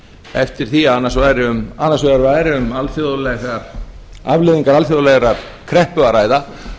eftir því annars vegar væri um afleiðingar alþjóðlegrar kreppu að ræða